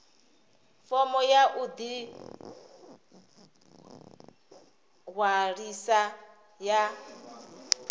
fomo ya u ḓiṅwalisa ya